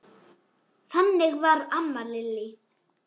Þannig var amma Lillý.